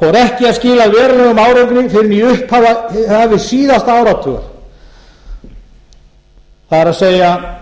fór ekki að skila verulegum árangri fyrr en í upphafi síðasta áratugar það er upphafi síðasta